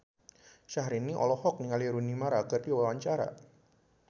Syahrini olohok ningali Rooney Mara keur diwawancara